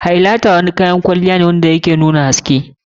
Highlighter wani nau'in kayan kwalliya ne wanda ke nuna haske.